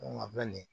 a bɛ nin